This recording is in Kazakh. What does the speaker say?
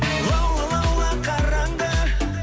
лаула лаула қараңғы